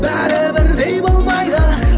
бәрі бірдей болмайды